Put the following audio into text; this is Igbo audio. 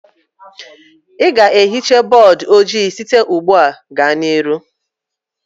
Ị ga-atụfu bọọdụ ojii site ugbu a gaa n'ihu.